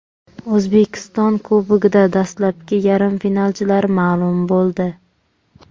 O‘zbekiston Kubogida dastlabki yarim finalchilar ma’lum bo‘ldi.